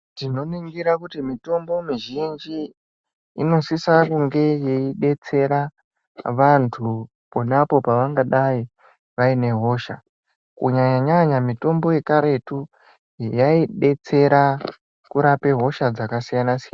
Tinoningira kuti mitombo mizhinji inosisa kunge yeidetsera vantu ponapo pavangadai vane hosha kunya nyanya mitombo yekaretu yeidetsera kurape hosha dzakasiyana siyana.